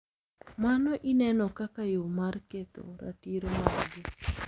Mano ineno kaka yo mar ketho ratiro margi.